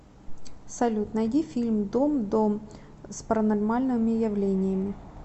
салют найди фильм дом дом с паранормальными явлениями